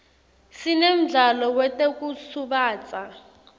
sinemdlalo wetekusubatsa